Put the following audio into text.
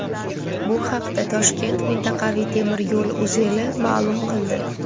Bu haqda Toshkent mintaqaviy temir yo‘l uzeli ma’lum qildi.